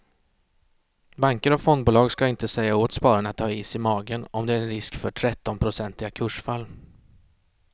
Banker och fondbolag ska inte säga åt spararna att ha is i magen om det är en risk för trettionprocentiga kursfall.